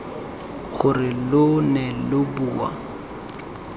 gore lo ne lo bua